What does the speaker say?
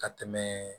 Ka tɛmɛ